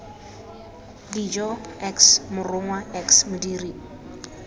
dijo x morongwa x modiri